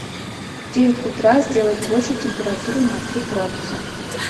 в девять утра сделать больше температуру на три градуса